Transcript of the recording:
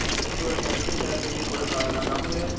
ಒಂದು ವರ್ಷ ದುಡೀತಾ ಇರ್ತೀವಿ ಕೊಡಕ್ಕಾಗಲ್ಲ ನಮ್ಗೆ